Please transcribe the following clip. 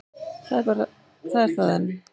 Það er það enn.